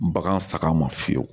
Bagan saga ma fiyewu